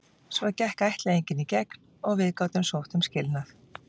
Svo gekk ættleiðingin í gegn og við gátum sótt um skilnað.